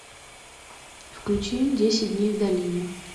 включи десять дней в долине